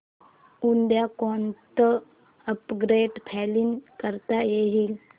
उद्या कोणतं upgrade plan करता येईल